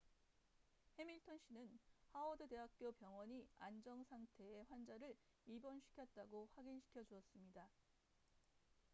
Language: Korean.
해밀턴 씨는 하워드 대학교 병원이 안정 상태의 환자를 입원시켰다고 확인 시켜 주었습니다